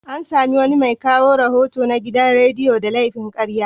An sami wani mai kawo rahoto na gidan radiyo da laifin karya.